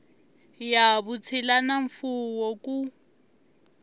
ya vutshila na mfuwo ku